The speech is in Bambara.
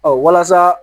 walasa